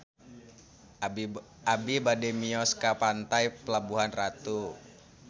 Abi bade mios ka Pantai Pelabuhan Ratu